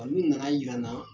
Olu nana yira n na